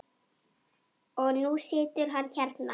Og nú situr hann hérna.